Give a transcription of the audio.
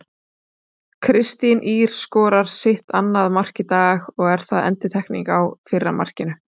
Kristín Ýr skorar sitt annað mark í dag og er það endurtekning á fyrra markinu.